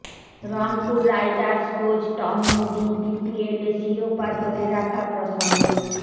Rangpur Riders coach Tom Moody বিপিএলে শিরোপা ধরে রাখা প্রসঙ্গে